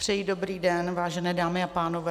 Přeji dobrý den, vážené dámy a pánové.